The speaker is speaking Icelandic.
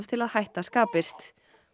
til að hætta skapist